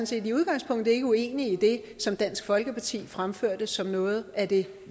set i udgangspunktet ikke uenig i det som dansk folkeparti fremførte som noget af det